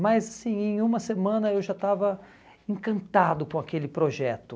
Mas assim, em uma semana eu já estava encantado com aquele projeto.